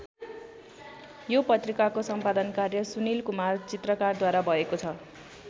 यो पत्रिकाको सम्पादन कार्य सुनिल कुमार चित्रकारद्वारा भएको छ।